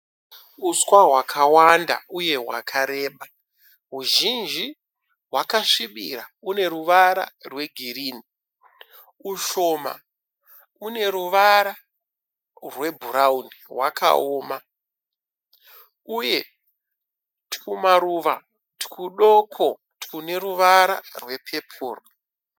Uswa hwakawanda uye hwakareba . Uzhinji hwakasvibira une ruvara rwe girinhi . Ushoma une ruvara rwe bhurauni hwakaoma uye tumaruva tudoko tune ruvara rwe pepuru.